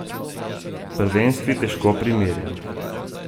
Prvenstvi težko primerja.